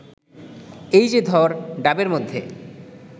এই যে ধর ডাবের মধ্যে